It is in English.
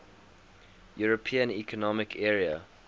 european economic area